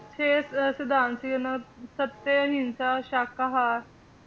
ਛੇ ਅਹ ਸਿਧਾਂਤ ਸੀ ਉਹਨਾਂ ਦੇ ਸੱਤੇ, ਅਹਿੰਸਾ, ਸ਼ਾਕਾਹਾਰ,